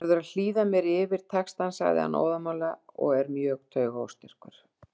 Þú verður að hlýða mér yfir textann, segir hann óðamála og er mjög taugaóstyrkur.